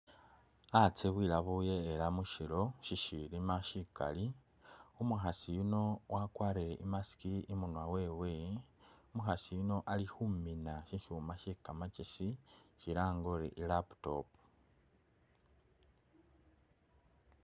Hatse bwiyabuye ela mushilo shishilima shikali, umukhasi yuno wakwarile mask imunwa wewe, umukhasi yuno ali khumina shikyuma she kamakyesi shilange uti i laptop.